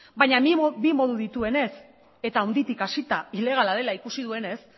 baina bi modu dituenez eta handitik hasita ilegala dela ikusi duenez